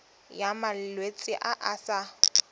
ya malwetse a a sa